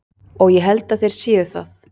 Og ég held að þeir séu það.